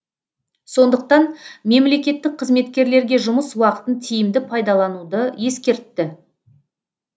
сондықтан мемлекеттік қызметкерлерге жұмыс уақытын тиімді пайдалануды ескертті